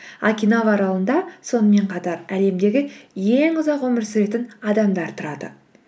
окинава аралында сонымен қатар әлемдегі ең ұзақ өмір сүретін адамдар тұрады